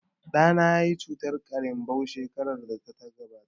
Ɗana yayi cutar ƙarinbau shekarar da ta gabata